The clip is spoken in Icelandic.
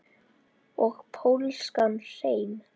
Og pólskan hreim.